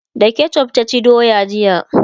da ketchuf ta ci doya jiya